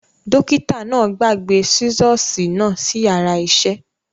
Dókítà náà gbàgbé sisosi náà sí yàrá isẹ